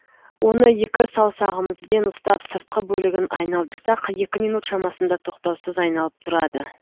оны екі саусағымызбен ұстап сыртқы бөлігін айналдырсақ екі минут шамасында тоқтаусыз айналып тұрады